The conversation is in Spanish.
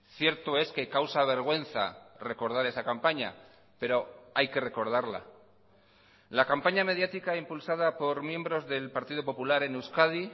cierto es que causa vergüenza recordar esa campaña pero hay que recordarla la campaña mediática impulsada por miembros del partido popular en euskadi